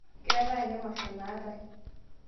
keetae ake emasho naatae